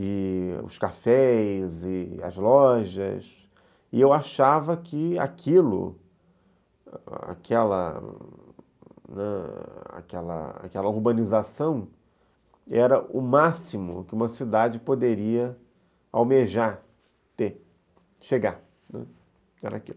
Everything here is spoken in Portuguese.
e os cafés, e as lojas, e eu achava que aquilo, aquela, aquela aquela urbanização, era o máximo que uma cidade poderia almejar ter, chegar, né, era aquilo.